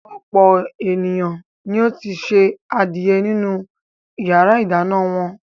Ọ̀pọ̀ ènìyàn ni ó ti se adìẹ nínú ìyàrá-ìdáná wọn.